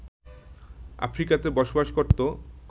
আফ্রিকাতে বসবাস করতো